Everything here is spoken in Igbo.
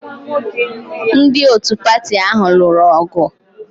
Ndị otu pati ahụ lụrụ ọgụ